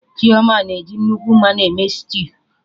Chioma na eji nnukwu mmanụ eme stew